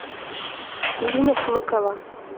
ирина шмыкова